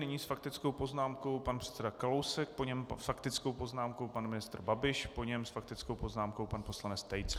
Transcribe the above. Nyní s faktickou poznámkou pan předseda Kalousek, po něm s faktickou poznámkou pan ministr Babiš, po něm s faktickou poznámkou pan poslanec Tejc.